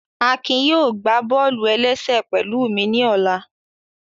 Akin yóò gbá bọ́ọ̀lù-ẹlẹ́sẹ̀ pẹ̀lụ́ mi ní ọ̀la